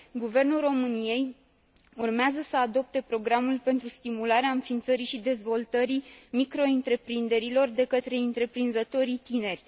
Guvernul României urmează să adopte programul pentru stimularea înființării și dezvoltării microîntreprinderilor de către întreprinzătorii tineri.